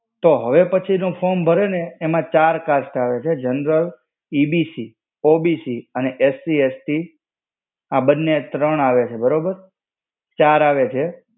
તો હવે પછી નું form ભરે ને, એમાં ચાર cast આવે છે, general, EBC, OBC અને SC, ST. આ બંને ત્રણ આવે છે બરોબર. ચાર આવે છે